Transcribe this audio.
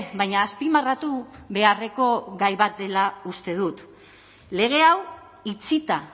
baina azpimarratu beharreko gai bat dela uste dut lege hau itxita